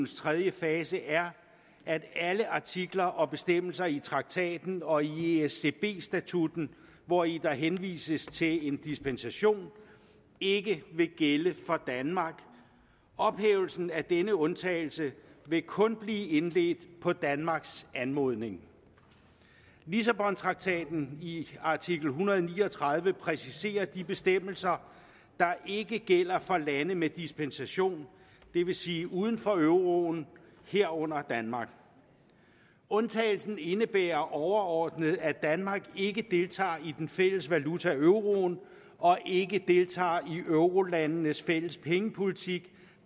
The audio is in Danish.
tredje fase er at alle artikler og bestemmelser i traktaten og i escb statutten hvori der henvises til en dispensation ikke vil gælde for danmark ophævelsen af denne undtagelse vil kun blive indledt på danmarks anmodning lissabontraktatens artikel en hundrede og ni og tredive præciserer de bestemmelser der ikke gælder for lande med dispensation det vil sige uden for euroen herunder danmark undtagelsen indebærer overordnet at danmark ikke deltager i den fælles valuta euroen og ikke deltager i eurolandenes fælles pengepolitik